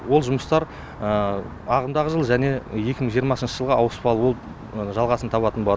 ол жұмыстар ағымдағы жылы және екі мың жиырмасыншы жылға ауыспалы болып жалғасын табатын болады